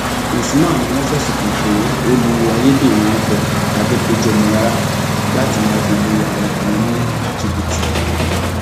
usman ni wọn fẹsùn kàn pé ó lo ayédèrú orúkọ adẹpéjú ọmọlára láti máa fi lu àwọn ọkùnrin ní jìbìtì